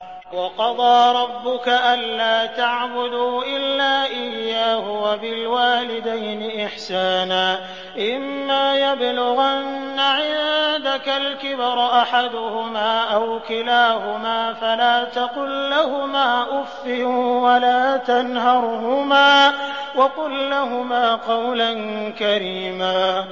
۞ وَقَضَىٰ رَبُّكَ أَلَّا تَعْبُدُوا إِلَّا إِيَّاهُ وَبِالْوَالِدَيْنِ إِحْسَانًا ۚ إِمَّا يَبْلُغَنَّ عِندَكَ الْكِبَرَ أَحَدُهُمَا أَوْ كِلَاهُمَا فَلَا تَقُل لَّهُمَا أُفٍّ وَلَا تَنْهَرْهُمَا وَقُل لَّهُمَا قَوْلًا كَرِيمًا